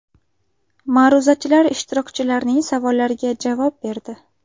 Ma’ruzachilar ishtirokchilarning savollariga javob berdi.